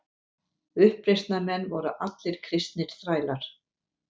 Uppreisnarmenn voru allir kristnir þrælar.